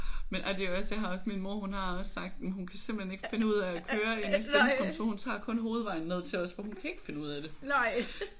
Men ej det er jo også jeg har også min mor hun har også sagt jamen hun kan simpelthen ikke finde ud af at køre inde i centrum så hun tager kun hovedvejen ned til os for hun kan ikke finde ud af det